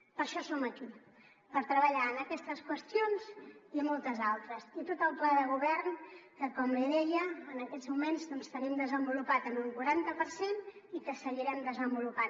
per això som aquí per treballar en aquestes qüestions i moltes altres i tot el pla de govern que com li deia en aquests moments tenim desenvolupat en un quaranta per cent i que seguirem desenvolupant